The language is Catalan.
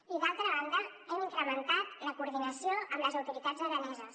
i d’altra banda hem incrementat la coordinació amb les autoritats araneses